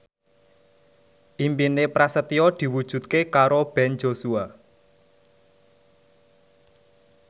impine Prasetyo diwujudke karo Ben Joshua